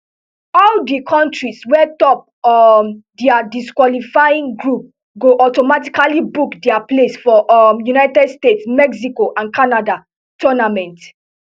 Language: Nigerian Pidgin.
all di kontris wey top um dia qualifying group go automatically book dia place for um united states mexico and canada tournament